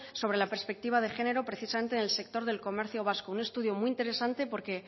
sobre la perspectiva de género precisamente en el sector del comercio vasco un estudio muy interesante porque